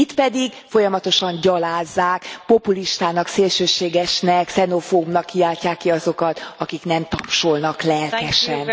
Itt pedig folyamatosan gyalázzák, populistának, szélsőségesnek, xenofóbnak kiáltják ki azokat, akik nem tapsolnak lelkesen.